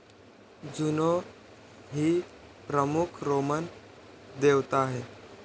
जुनो ही प्रमुख रोमन देवता आहे.